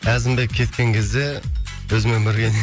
әзімбек кеткен кезде өзімен бірге